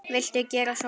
Viltu gera svo vel.